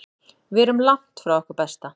Við erum langt frá okkar besta.